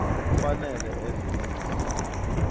kufanele eze nencwadi